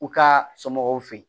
U ka somɔgɔw fe yen